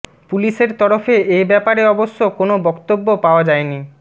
পুলিশের তরফে এ ব্যাপারে অবশ্য কোনও বক্তব্য পাওয়া যায়নি